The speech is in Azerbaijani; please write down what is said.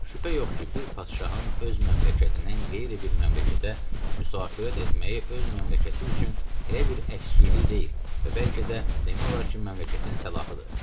Şübhə yox ki, bir padşahın öz məmləkətindən qeyri bir məmləkətə müsafirət etməyi öz məmləkəti üçün elə bir əskilik deyil və bəlkə də demək olar ki, məmləkətin salahıdır.